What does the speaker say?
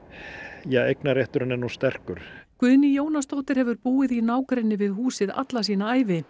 ja eignarrétturinn er sterkur Guðný Jónasdóttir hefur búið í nágrenni við húsið alla sína ævi